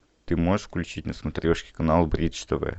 ты можешь включить на смотрешке канал бридж тв